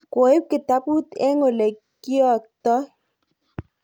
koib kitabut eng' ole kiotoi